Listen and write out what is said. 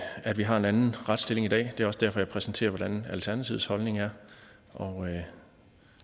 at vi har en anden retsstilling i dag det er også derfor jeg præsenterer hvordan alternativets holdning er og